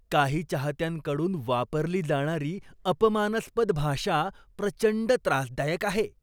काही चाहत्यांकडून वापरली जाणारी अपमानास्पद भाषा प्रचंड त्रासदायक आहे.